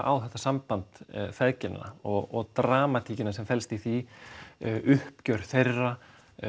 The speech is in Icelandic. á þetta samband og dramatíkina sem felst í því uppgjör þeirra